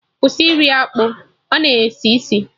Kwụsị iri akpụ, ọ na esi isi!